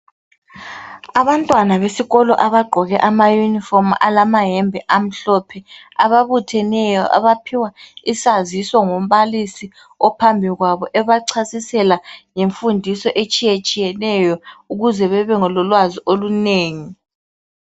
Abantwana besikolo abagqoke ama-uniform alamayembe amhlophe,. Ababutheneyo. Abaphiwa isaziso ngumbalisi, ophambi kwabo. Ebachasisela ngemfundiso, etshiyetshiyeneyo, ukuze babe lolwazi olunengi.